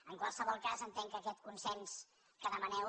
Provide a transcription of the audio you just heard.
en qualsevol cas entenc que aquest consens que demaneu